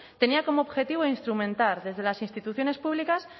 tenía como objetivo instrumentar desde las instituciones públicas